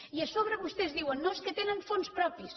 i a sobre vostès diuen no és que tenen fons propis